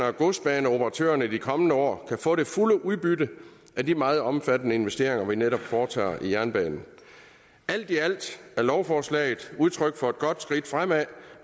og godsbaneoperatørerne de kommende år kan få det fulde udbytte af de meget omfattende investeringer vi netop foretager i jernbanen alt i alt er lovforslaget udtryk for et godt skridt fremad